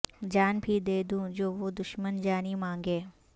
جان بھی دے دوں جو وہ دشمن جانی مانگے